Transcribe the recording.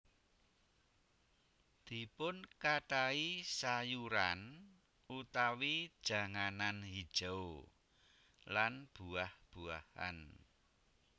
Dipunkathahi sayuran utawi janganan hijau lan buah buahan